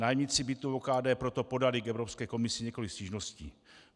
Nájemníci bytů OKD proto podali k Evropské komisi několik stížností.